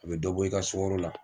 A be dɔ bɔ i ka sugaro la